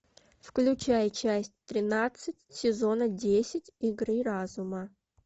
включай часть тринадцать сезона десять игры разума